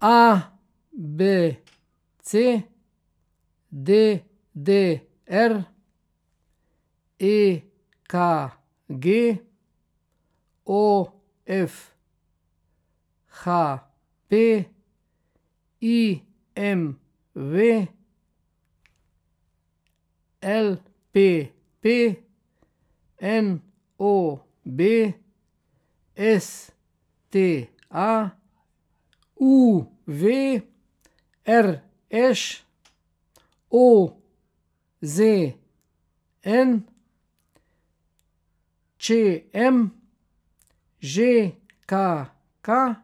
A B C; D D R; E K G; O F; H P; I M V; L P P; N O B; S T A; U V; R Š; O Z N; Č M; Ž K K;